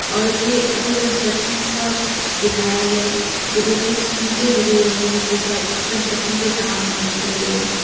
और ये under construction का कुछ दिखाया गया है उधर कुछ ईटें गिरी हुई है जो कि शायद कंस्ट्रक्शन के काम आने के लिए है।